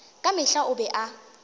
ka mehla o be a